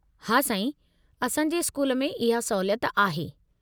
हा साईं, असां जे स्कूल में इहा सहूलियत आहे।